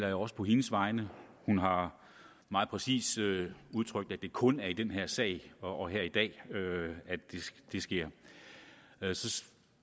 jeg også på hendes vegne hun har meget præcist udtrykt at det kun er i den her sag og her i dag at det sker